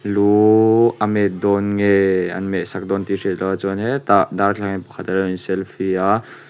luuuu a met dawn nge an meh sam dawn tih a hriat loh a chuan hetah darthlalang ah hian pakhat a lo in selfie a.